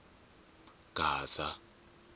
gaza